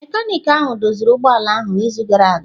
Mekaniki ahụ doziri ụgbọ ala ahụ n'izu gara aga.